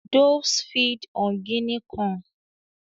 Doves feed on Guinea corn.